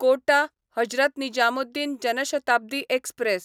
कोटा Hazrat Nizamuddin Jan Shatabdi express